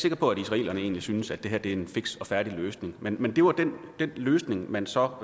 sikker på at israelerne egentlig synes at det her er en fiks og færdig løsning men men det var den løsning man så